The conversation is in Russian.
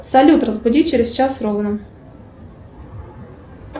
салют разбуди через час ровно